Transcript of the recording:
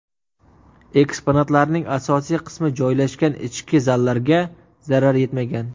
Eksponatlarning asosiy qismi joylashgan ichki zallarga zarar yetmagan.